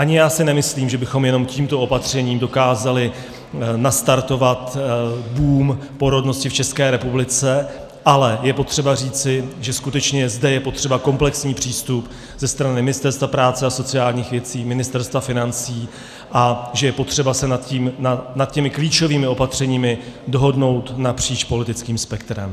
Ani já si nemyslím, že bychom jenom tímto opatřením dokázali nastartovat boom porodnosti v České republice, ale je potřeba říci, že skutečně zde je potřeba komplexní přístup ze strany Ministerstva práce a sociálních věcí, Ministerstva financí a že je potřeba se nad těmi klíčovými opatřeními dohodnout napříč politickým spektrem.